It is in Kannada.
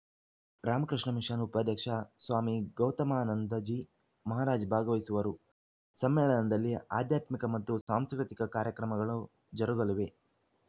ರಾಮಕೃಷ್ಣ ಮಿಶನ್‌ ಉಪಾಧ್ಯಕ್ಷ ಸ್ವಾಮಿ ಗೌತಮಾನಂದಜಿ ಮಹಾರಾಜ್‌ ಭಾಗವಹಿಸುವರು ಸಮ್ಮೇಳನದಲ್ಲಿ ಆಧ್ಯಾತ್ಮಿಕ ಮತ್ತು ಸಾಂಸ್ಕೃತಿಕ ಕಾರ್ಯಕ್ರಮಗಳು ಜರುಗಲಿವೆ